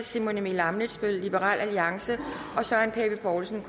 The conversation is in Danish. simon emil ammitzbøll og søren pape poulsen